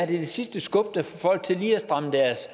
det sidste skub der får folk til lige at stramme deres